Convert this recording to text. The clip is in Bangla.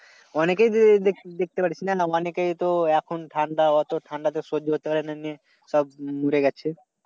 অনেকেই রয়েছে দেখতে পাচ্ছিস না অনেকেই তো এখন ঠান্ডা অজর ঠান্ডা সহ্য করতে পারে না এমনি সব লুড়ে গেছে।